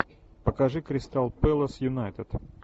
покажи кристал пэлас юнайтед